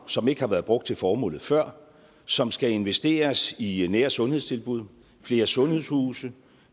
som ikke har været brugt til formålet før som skal investeres i nære sundhedstilbud flere sundhedshuse